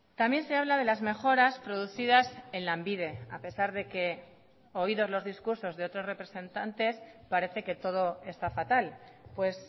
también se habla de las mejoras producidas en lanbide a pesar de que oídos los discursos de otros representantes parece que todo está fatal pues